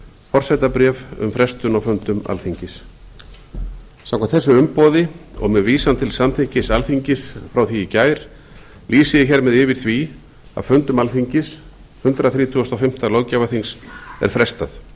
forsetabréf um frestun á fundum alþingis samkvæmt þessu umboði og með vísan til samþykkis alþingis frá því gær lýsi ég hér með yfir því að fundum alþingis hundrað þrítugasta og fimmta löggjafarþings er frestað